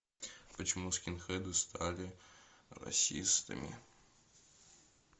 почему скинхеды стали расистами